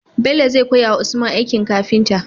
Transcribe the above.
Bello zai koya wa usman aikin kafinta?